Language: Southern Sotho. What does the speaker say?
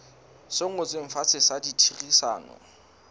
se ngotsweng fatshe sa ditherisano